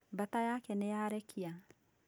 Baata yaake nĩyarekia